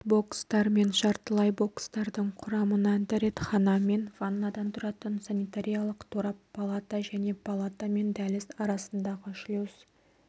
бокстар мен жартылай бокстардың құрамына дәретхана мен ваннадан тұратын санитариялық торап палата және палата мен дәліз арасындағы шлюз